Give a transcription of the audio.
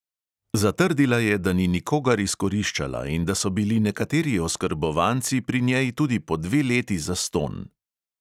Zatrdila je, da ni nikogar izkoriščala in da so bili nekateri oskrbovanci pri njej tudi po dve leti zastonj.